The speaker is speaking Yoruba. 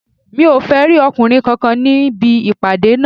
Mi ò fẹ́ rí ọkùnrin kankan níbì ìpàdé náà